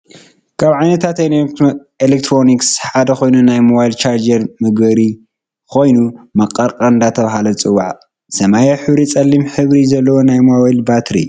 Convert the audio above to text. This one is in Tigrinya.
ካብ ዓይነታት ኤሌክትሮኒስ ሓደ ኮይኑ ናይ ሞባይል ቻርጅ መግበሪ ኮይኑ መቀርቀር እንዳተባሃለ ዝፅዋሕ ሰማያዊ ሕብሪን ፀሊም ሕብሪ ዘለዎ ናይ ሞባይል ባትሪን እዩ።